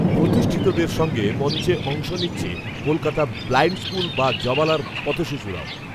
প্রতিষ্ঠিতদের সঙ্গে মঞ্চে অংশ নিচ্ছে কলকাতা ব্লাইণ্ড স্কুল বা জবালার পথশিশুরাও